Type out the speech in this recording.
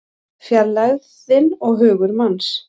Fjarlægðin og hugur manns